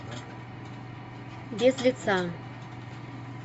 без лица